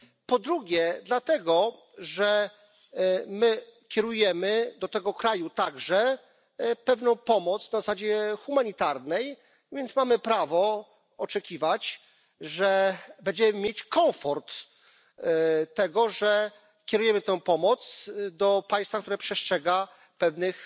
Po drugie dlatego, że my kierujemy do tego kraju także pewną pomoc na zasadzie humanitarnej, więc mamy prawo oczekiwać, że będziemy mieć komfort tego, że kierujemy tę pomoc do państwa, które przestrzega pewnych